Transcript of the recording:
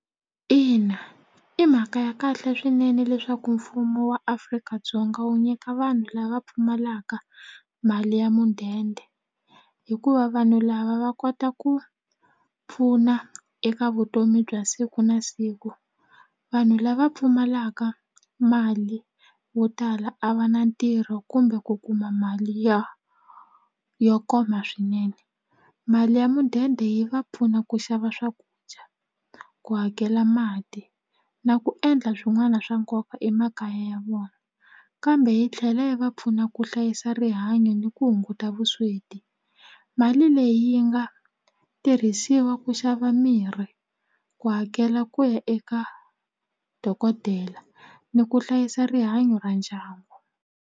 Ina, i mhaka ya kahle swinene leswaku mfumo wa Afrika-Dzonga wu nyika vanhu lava pfumalaka mali ya mudende hikuva vanhu lava va kota ku pfuna eka vutomi bya siku na siku vanhu lava pfumalaka mali vo tala a va na ntirho kumbe ku kuma mali ya yo koma swinene mali ya mudende yi va pfuna ku xava swakudya ku hakela mati na ku endla swin'wana swa nkoka emakaya ya vona kambe yi tlhela hi va pfuna ku hlayisa rihanyo ni ku hunguta vusweti mali leyi yi nga tirhisiwa ku xava mirhi ku hakela ku ya eka dokodela ni ku hlayisa rihanyo ra ndyangu.